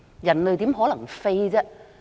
人類怎可能飛？